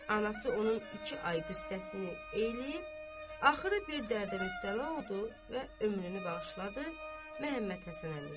Anası onun iki ay qız səssini eləyib, axırı bir dərdə mübtəla oldu və ömrünü bağışladı Məhəmməd Həsən Əmiyə.